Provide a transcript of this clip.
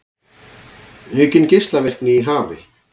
Aukin geislavirkni í hafi